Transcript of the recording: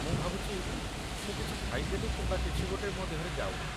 ମୁଁ ଭାବୁଛି ମୁଁ କିଛି ଖାଇଦେଲି କିମ୍ବା କିଛି ଗୋଟେ ମୋ ଦେହରେ ଯାଉନି।